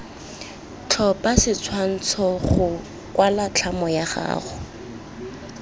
tlhopha setshwantshogo kwala tlhamo yagago